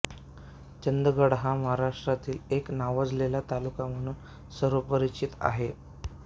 चंदगड हा महाराष्ट्रातील एक नावाजलेला तालुका म्हणून सर्वपरिचित आहे